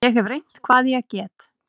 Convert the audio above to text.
Ég hef reynt hvað ég get.